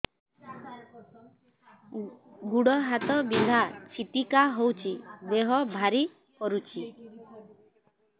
ଗୁଡ଼ ହାତ ବିନ୍ଧା ଛିଟିକା ହଉଚି ଦେହ ଭାରି କରୁଚି